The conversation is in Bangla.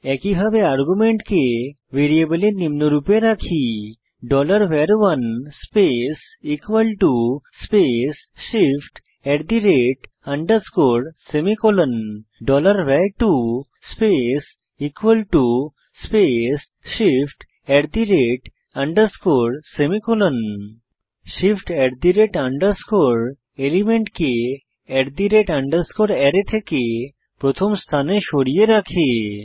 একইভাবে আর্গুমেন্টকে ভ্যারিয়েবলে নিম্নরুপে রাখি var1 space space shift semicolon var2 space space shift semicolon shift এলিমেন্টকে আরায় থেকে প্রথম স্থানে সরিয়ে রাখে